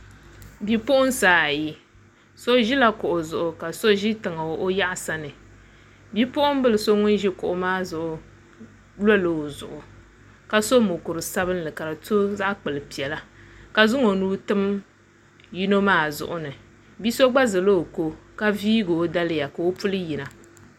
Bipuɣunsi ayi so ʒila kuɣu zuɣu ka so ʒi tiŋa o yaɣasa ni bipuɣunbili so ŋun ʒi kuɣu maa zuɣu lola o zuɣu ka so mokuru sabinli ka di to zaɣ kpuli piɛla ka zaŋ o nuu tim yino maa zuɣuni bia so gba zaa ʒɛ ni ka viigi o daliya ka o puli yina